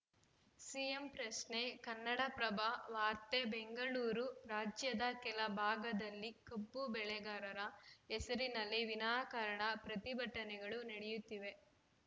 CM ಪ್ರಶ್ನೆ ಕನ್ನಡಪ್ರಭ ವಾರ್ತೆ ಬೆಂಗಳೂರು ರಾಜ್ಯದ ಕೆಲ ಭಾಗದಲ್ಲಿ ಕಬ್ಬು ಬೆಳೆಗಾರರ ಹೆಸರಿನಲ್ಲಿ ವಿನಾಕಾರಣ ಪ್ರತಿಭಟನೆಗಳು ನಡೆಯುತ್ತಿವೆ